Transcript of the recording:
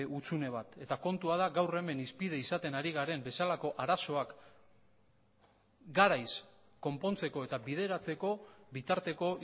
hutsune bat eta kontua da gaur hemen hizpide izaten ari garen bezalako arazoak garaiz konpontzeko eta bideratzeko bitarteko